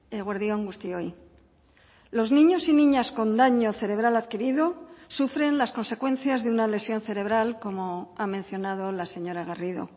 eguerdi on guztioi los niños y niñas con daño cerebral adquirido sufren las consecuencias de una lesión cerebral como ha mencionado la señora garrido